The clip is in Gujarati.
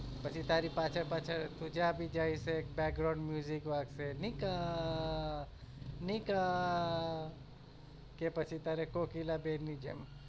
પછી તારી પાછળ પાછળ તું જ્યાં પણ જાય તો એક વાગશે નિકા નિકા કે પછી તારે કોકિલા બેન ની જેમ